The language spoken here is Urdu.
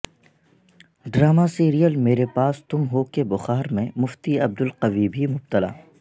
ڈرامہ سیریل میرے پاس تم ہو کے بخار میں مفتی عبدالقوی بھی مبتلا